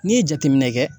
N'i ye jateminɛ kɛ